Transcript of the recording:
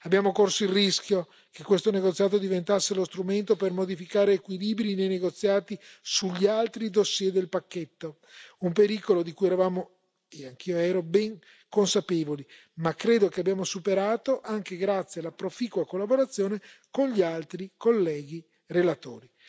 Abbiamo corso il rischio che questo negoziato diventasse lo strumento per modificare equilibri nei negoziati sugli altri fascicoli del pacchetto, un pericolo di cui eravamo lo ero anch'io ben consapevoli ma che, credo, che abbiamo superato, anche grazie alla proficua collaborazione con gli altri colleghi relatori.